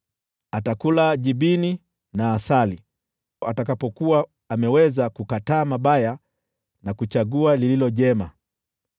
Atakula jibini na asali atakapokuwa ameweza kukataa mabaya na kuchagua mema.